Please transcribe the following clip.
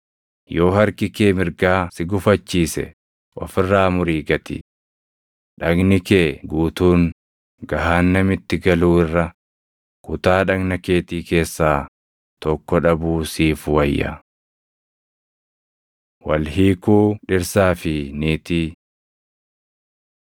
Yoo harki kee mirgaa si gufachiise of irraa murii gati. Dhagni kee guutuun gahaannamitti galuu irra, kutaa dhagna keetii keessaa tokko dhabuu siif wayya. Wal Hiikuu Dhirsaa fi Niitii